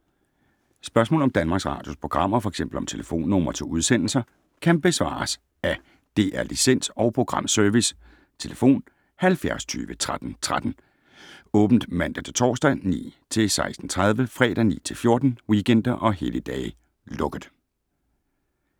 Spørgsmål om Danmarks Radios programmer, f.eks. om telefonnumre til udsendelser, kan besvares af DR Licens- og Programservice: tlf. 70 20 13 13, åbent mandag-torsdag 9.00-16.30, fredag 9.00-14.00, weekender og helligdage: lukket.